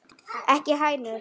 Ekki hænur?